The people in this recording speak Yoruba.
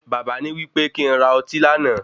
Baba ní wípé kí n ra ọtí lánàá.